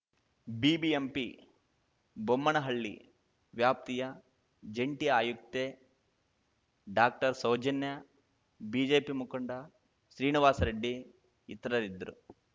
BBMP Bommanahalli ವ್ಯಾಪ್ತಿಯ ಜಂಟಿ ಆಯುಕ್ತೆ ಡಾಕ್ಟರ್ಸೌಜನ್ಯಾ BJP ಮುಖಂಡ ಶ್ರೀನಿವಾಸರೆಡ್ಡಿ ಇತರರಿದ್ದರು